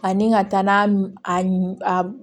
Ani ka taa n'a a